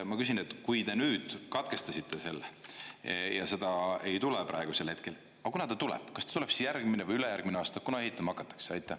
Ma küsin: kui te nüüd katkestasite selle ja seda ei tule praegusel hetkel, aga kuna ta tuleb, kas ta tuleb siis järgmine või ülejärgmine aasta, kuna ehitama hakatakse?